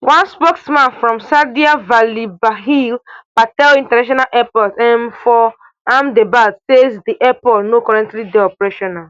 one spokesperson from sardar vallabhbhai patel international airport um for ahmedabad say di airport no currently dey operational